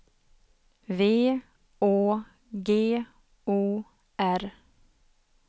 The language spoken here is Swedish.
V Å G O R